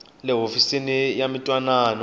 le ka hofisi ya mintwanano